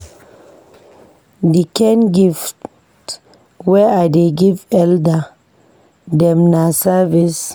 Di kain gift wey I dey give elda dem na service.